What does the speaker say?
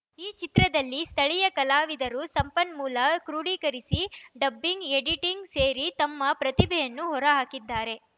ಈ ಚಿತ್ರದಲ್ಲಿ ಸ್ಥಳೀಯ ಕಲಾವಿದರು ಸಂಪನ್ಮೂಲ ಕ್ರೂಢಿಕರಿಸಿ ಡಬ್ಬಿಂಗ್‌ ಎಡಿಟಿಂಗ್‌ ಸೇರಿ ತಮ್ಮ ಪ್ರತಿಭೆಯನ್ನು ಹೊರ ಹಾಕಿದ್ದಾರೆ